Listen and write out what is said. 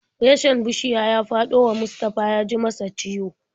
Reshen bishiya ya faɗo wa Mustafa ya ji masa ciwo.